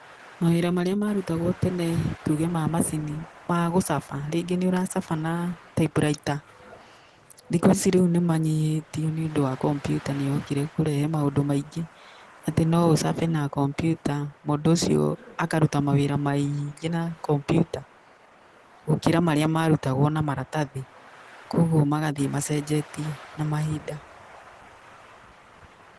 Mawĩra marĩa marũtagwo tene tũge ma macini ma gũcaba rĩngĩ nĩ ũracaba na taipuraita, thikũ ici nĩmanyihĩtio nĩũndũ wa kompiuta nĩyokire kũrehe maũndũ maingĩ atĩ noũcabe na kompiuta, mũndũ ũcio akarũta mawĩra maingĩ na kompiuta gũkĩra marĩa marũtagwo na maratathi. Kogũo magathiĩ macenjetie na mahinda.